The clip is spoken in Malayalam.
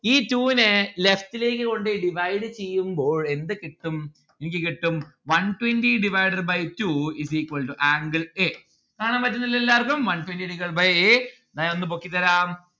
ഈ two നെ left ലേക്ക് കൊണ്ട് പോയി divide ചെയ്യുമ്പോൾ എന്ത് കിട്ടും? എനിക്ക് കിട്ടും one twenty divided by two is equal to angle a കാണാൻ പറ്റുന്നില്ലേ എല്ലാവര്ക്കും one twenty divided by a എന്ന ഞാൻ ഒന്ന് പൊക്കിത്തരാം